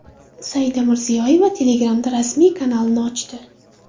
Saida Mirziyoyeva Telegram’da rasmiy kanalini ochdi.